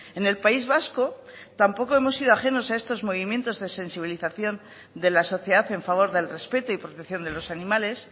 en el país vasco tampoco hemos sido ajenos a estos movimientos de sensibilización de la sociedad en favor del respeto y protección de los animales